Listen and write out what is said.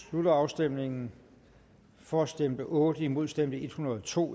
slutter afstemningen for stemte otte imod stemte en hundrede og to